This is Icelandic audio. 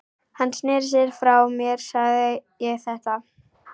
Hann sneri sér frá mér þegar ég sagði þetta.